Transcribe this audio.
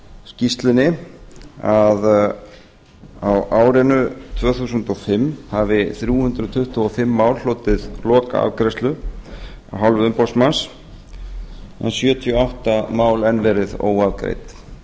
skýrslunni að árinu tvö þúsund og fimm hafi þrjú hundruð tuttugu og fimm mál hlotið lokaafgreiðslu af hálfu umboðsmanns en sjötíu og átta mál enn verið óafgreidd